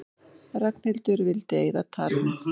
Ragnhildur vildi eyða talinu.